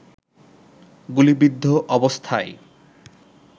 গুলিবিদ্ধ অবস্থায়